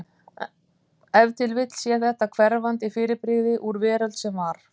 Ef til vill sé þetta hverfandi fyrirbrigði úr veröld sem var.